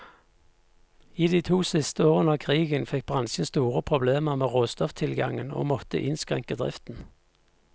I de to siste årene av krigen fikk bransjen store problemer med råstofftilgangen, og måtte innskrenke driften.